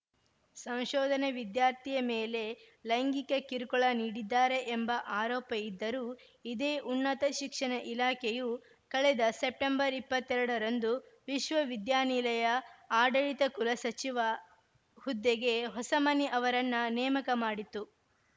ಸಂಶೋಧನೆ ವಿದ್ಯಾರ್ಥಿಯ ಮೇಲೆ ಲೈಂಗಿಕ ಕಿರುಕುಳ ನೀಡಿದ್ದಾರೆ ಎಂಬ ಆರೋಪ ಇದ್ದರೂ ಇದೇ ಉನ್ನತ ಶಿಕ್ಷಣ ಇಲಾಖೆಯು ಕಳೆದ ಸೆಪ್ಟೆಂಬರ್ ಇಪ್ಪತ್ತೆರಡರಂದು ವಿಶ್ವವಿದ್ಯಾನಿಲಯ ಆಡಳಿತ ಕುಲಸಚಿವ ಹುದ್ದೆಗೆ ಹೊಸಮನಿ ಅವರನ್ನ ನೇಮಕ ಮಾಡಿತ್ತು